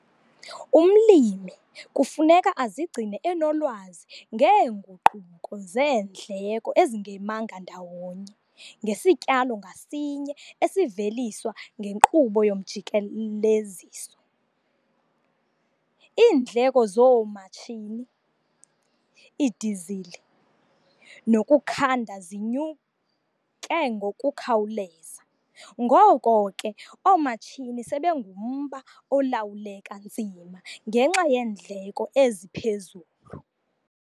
Umlimi kufuneka azigcine enolwazi ngeenguquko zeendleko ezingemanga ndawonye ngesityalo ngasinye esiveliswa ngenkqubo yomjikeleziso. Iindleko zoomatshini, idizili nokukhanda zinyuke ngokukhawuleza, ngoko ke, oomatshini sebengumba olawuleka nzima ngenxa yeendleko eziphezulu.